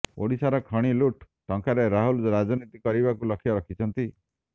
ଓଡ଼ିଶାର ଖଣି ଲୁଟ୍ ଟଙ୍କାରେ ରାହୁଲ ରାଜନୀତି କରିବାକୁ ଲକ୍ଷ୍ୟ ରଖିଛନ୍ତି